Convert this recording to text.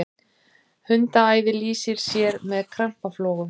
hundaæði lýsir sér með krampaflogum